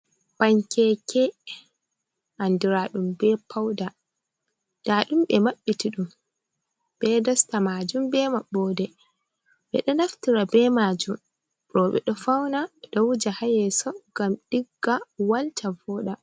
Pankeke andiraɗum be pauda nda ɗum ɓe ɗo maɓɓiti ɗum be dosta majun, be maɓɓode ɓe ɗo naftira be majum, roɓe ɗo fauna, ɗo wuja hayeso, ngam ɗigga, walta, voda.